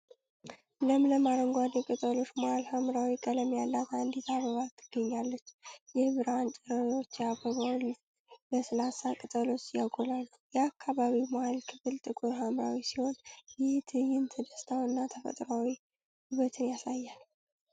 ለምለም አረንጓዴ ቅጠሎች መሀል ሐምራዊ ቀለም ያላት አንዲት አበባ ትገኛለች። የብርሃን ጨረሮች የአበባውን ለስላሳ ቅጠሎች ያጎላሉ። የአበባው መሀል ክፍል ጥቁር ሐምራዊ ሲሆን፣ ይህ ትዕይንት ደስታንና ተፈጥሯዊ ውበትን ያሳያል።